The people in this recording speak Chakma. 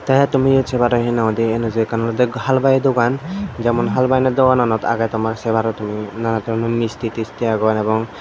te tumi iyot se paro hinanghoide enuju ekkan olodey halwai dogan jemon halwai ano dogananot agey tomar se paro tumi nanan doronor misti tisti agon ebong.